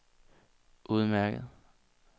udmærket